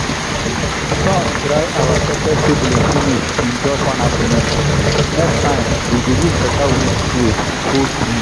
sun dry our pepper seedling finish in just one afternoon—next time we go use better wind shield hold breeze.